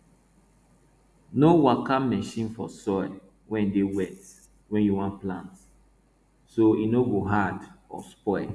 no waka machine for soil wey dey wet when you wan plant so it no go hard or spoil